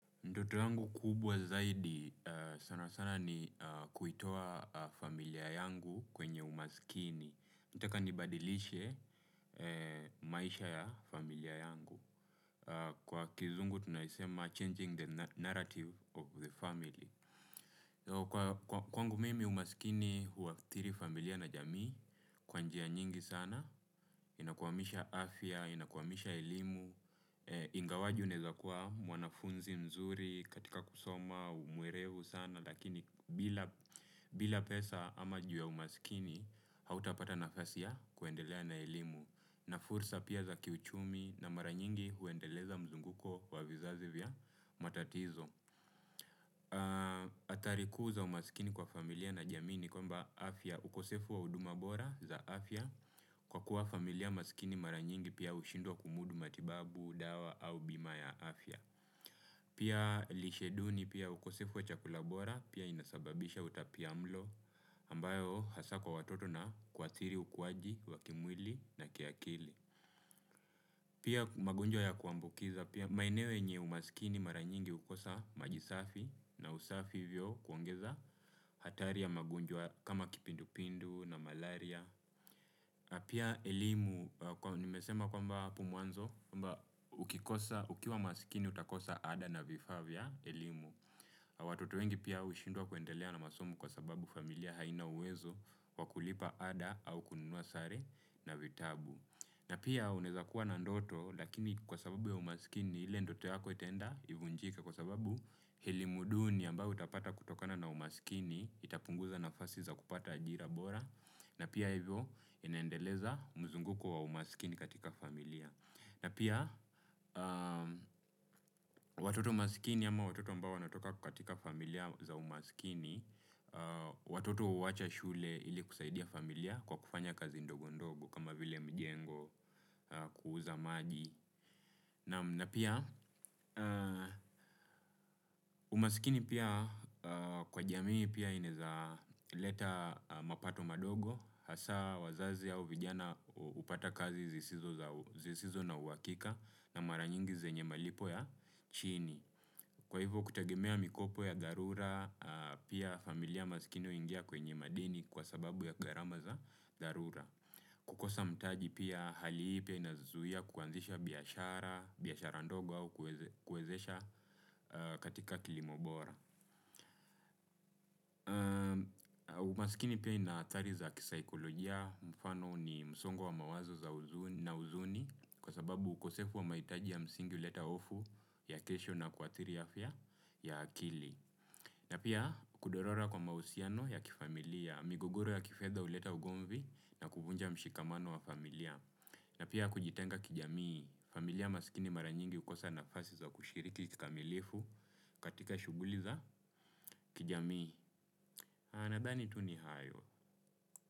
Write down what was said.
Ndoto yangu kubwa zaidi sana sana ni kuitoa familia yangu kwenye umaskini. Nataka nibadilishe maisha ya familia yangu. Kwa kizungu tunaisema changing the na narrative of the family. Kwa k kwangu mimi umaskini huwaktiri familia na jamii kwa njia nyingi sana. Inakwamisha afya, inakwamisha elimu. Ingawaje unaeza kuwa mwanafunzi mzuri katika kusoma uwe mwerevu sana lakini bila pesa ama juu ya umasikini hautapata nafasi kuendelea na elimu na fursa pia za kiuchumi na mara nyingi huendeleza mzunguko wa vizazi vya matatizo hatari kuu za umaskini kwa familia na jamii ni kwamba afya ukosefu wa huduma bora za afya kwa kuwa familia maskini mara nyingi pia hushindwa kumudu matibabu dawa au bima ya afya pia lishe duni pia ukosefu wa chakula bora pia inasababisha utapiamlo ambayo hasaa kwa watoto na kuathiri ukuwaji, wa kimwili na kiakili pia magonjwa ya kuambukiza pia maeneo yenye umasikini mara nyingi hukosa maji safi na usafi hivyo kuongeza hatari ya magonjwa kama kipindupindu na malaria na pia elimu kwa nimesema kwamba hapo mwanzo kwamba ukikosa ukiwa maskini utakosa ada na vifaa vya elimu watoto wengi pia hushindwa kuendelea na masomo kwa sababu familia haina uwezo wa kulipa ada au kununua sare na vitabu. Na pia unaweza kuwa na ndoto lakini kwa sababu ya umasikini ile ndoto yako itenda ivunjike kwa sababu elimu duni ambayo utapata kutokana na umasikini itapunguza nafasi za kupata ajira bora. Na pia hivyo inaendeleza mzunguko wa umasikini katika familia. Na pia watoto masikini ama watoto ambao wanatoka katika familia za umasikini, watoto huwacha shule ili kusaidia familia kwa kufanya kazi ndogo ndogo kama vile mjengo kuuza maji. Naam na pia umasikini pia kwa jamii pia inaeza leta mapato madogo. Hasaa wazazi au vijana hupata kazi zisizo za zisizo na uhakika na mara nyingi zenye malipo ya chini. Kwa hivyo kutagemea mikopo ya dharura, pia familia masikini huingia kwenye madeni kwa sababu ya gharama za dharura. Kukosa mtaji pia hali hii pia inazuia kuanzisha biashara biashara ndogo au kuwezesh kuwezesha katika kilimo bora. Umasikini pia ina adhari za kisaikolojia mfano ni msongo wa mawazo za huzuni na huzuni kwa sababu ukosefu wa mahitaji ya msingi huleta hofu ya kesho na kuadhiri afya ya akili. Na pia kudorora kwa mahusiano ya kifamilia, migogoro ya kifedha huleta ugomvi na kuvunja mshikamano wa familia. Na pia kujitenga kijamii, familia masikini maranyingi hukosa nafasi za kushiriki kikamilifu katika shuguli za kijamii. Nadhani tu ni hayo.